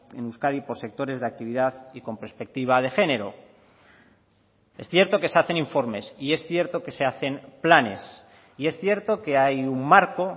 en euskadi por sectores de actividad y con perspectiva de género es cierto que se hacen informes y es cierto que se hacen planes y es cierto que hay un marco